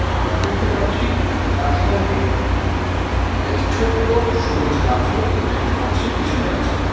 আকাশ দেখতে পাচ্ছি তার সঙ্গে একটি ছোট্ট সবুজ গাছও দেখতে পাচ্ছি পিছনে আছে।